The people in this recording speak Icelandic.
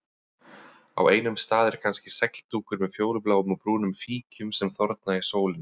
Á einum stað er kannski segldúkur með fjólubláum og brúnum fíkjum sem þorna í sólinni.